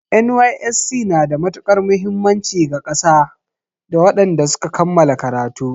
NYSC na da matukar muhimmanci ga ƙasa da wadanda suka kammala karatu